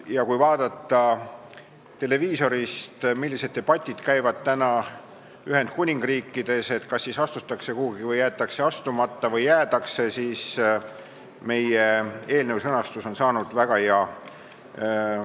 Ja kui vaadata televiisorist, millised debatid käivad praegu Ühendkuningriigis selle üle, kas astutakse kuhugi, jäetakse astumata või jäädakse, siis meie eelnõu sõnastus on saanud väga hea.